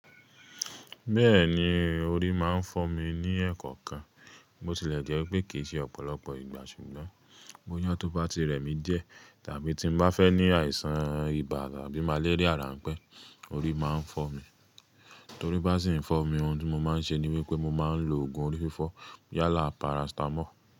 Bẹ́ẹ̀ni, orí máa ń fọ́ mi ní ẹ̀ẹ̀kọ̀kan. Mo tilẹ̀ jẹ́ pé kì í ṣe ọ̀pọ̀lọpọ̀ ìgbà, ṣùgbọ́n bóyá tó bá ti rẹ̀ mí díẹ̀ tàbí tí mo bá fẹ́ ní àìsàn ibà àbí màléríà ránpẹ́, orí máa ń fọ́ mi. Torí bá sì ń fọ́ mi, ohun tí mo máa ń ṣe ni wípé mo máa ń lo oògùn orí fífọ́ yálà parasitamọ́ọ̀.